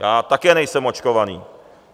Já také nejsem očkovaný.